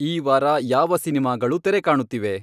ಈ ವಾರ ಯಾವ ಸಿನಿಮಾಗಳು ತೆರೆಕಾಣುತ್ತಿವೆ